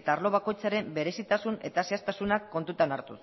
eta arlo bakoitzaren berezitasun eta zehaztasuna kontutan hartuz